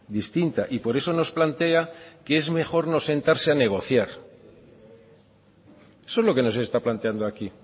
distinta y por eso nos plantea que es mejor no sentarse a negociar eso es lo que nos está planteando aquí